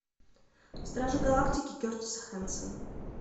стражи галактики кертиса хэнсона